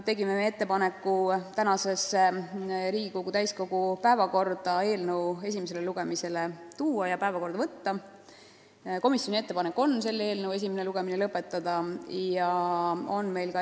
Tegime ettepaneku võtta eelnõu esimene lugemine Riigikogu täiskogu tänase istungi päevakorda ja esimene lugemine lõpetada.